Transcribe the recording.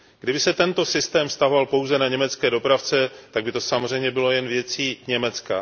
Kdyby se tento systém vztahoval pouze na německé dopravce, tak by to samozřejmě bylo jen věcí Německa.